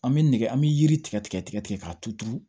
An bɛ nɛgɛ an bɛ yiri tigɛ tigɛ tigɛ k'a tuuru